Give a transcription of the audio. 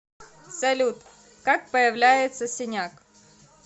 салют как появляется синяк